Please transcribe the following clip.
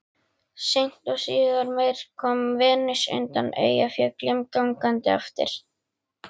Seint og síðar meir kom Venus undan Eyjafjöllum gangandi eftir